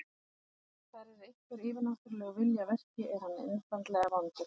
Ef þar er einhver yfirnáttúrulegur vilji að verki, er hann einfaldlega vondur.